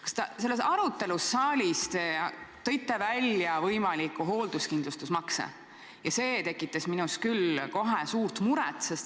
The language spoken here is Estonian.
Aga selles arutelus siin saalis te tõite välja võimaliku hoolduskindlustusmakse ja see tekitas minus küll suurt muret.